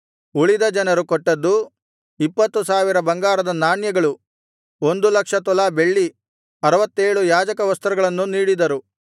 ಉಳಿದ ಜನರು ಕೊಟ್ಟದ್ದು ಇಪ್ಪತ್ತು ಸಾವಿರ ಬಂಗಾರದ ನಾಣ್ಯಗಳು ಒಂದು ಲಕ್ಷ ತೊಲಾ ಬೆಳ್ಳಿ ಅರುವತ್ತೇಳು ಯಾಜಕವಸ್ತ್ರಗಳನ್ನು ನೀಡಿದರು